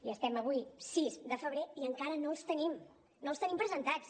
i estem avui a sis de febrer i encara no els tenim no els tenim presentats